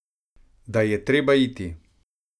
Da je treba iti.